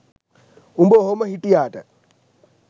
උඹ ඔහොම හිටියාට